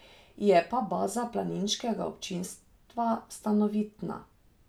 Je pa baza planiškega občinstva stanovitna.